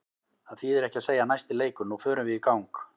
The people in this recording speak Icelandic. Það þýðir ekki að segja næsti leikur, nú förum við í gang.